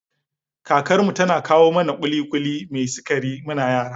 Kakar mu tana kawo mana ƙuli-ƙuli mai sikari muna yara